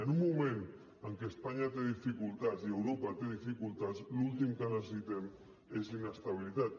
i en un moment en què espanya té dificultats i europa té dificultats l’últim que necessitem és inestabilitat